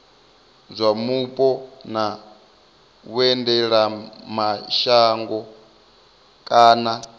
zwa mupo na vhuendelamashango kana